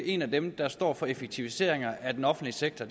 en af dem der står for effektiviseringer af den offentlige sektor